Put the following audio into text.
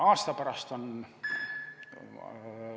Aasta pärast on ...